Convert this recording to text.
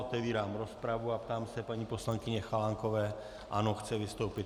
Otevírám rozpravu a ptám se paní poslankyně Chalánkové - ano, chce vystoupit.